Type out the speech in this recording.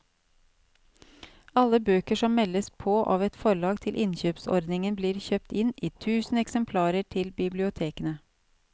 Alle bøker som meldes på av et forlag til innkjøpsordningen blir kjøpt inn i tusen eksemplarer til bibliotekene.